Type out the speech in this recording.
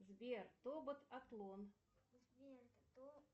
сбер тобот атлон